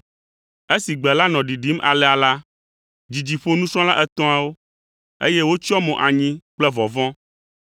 Esi gbe la nɔ ɖiɖim alea la, dzidzi ƒo nusrɔ̃la etɔ̃awo, eye wotsyɔ mo anyi kple vɔvɔ̃.